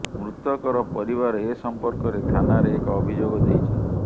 ମୃତକର ପରିବାର ଏ ସଂପର୍କରେ ଥାନାରେ ଏକ ଅଭିଯୋଗ ଦେଇଛନ୍ତି